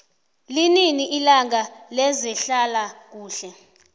linini ilanga lezehlala kuhle